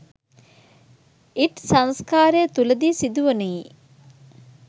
ඉඞ් සංස්කාරය තුළදී සිදුවනුයේ